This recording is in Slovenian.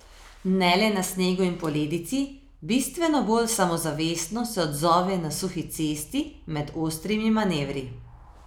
Ne le na snegu in poledici, bistveno bolj samozavestno se odzove na suhi cesti med ostrimi manevri.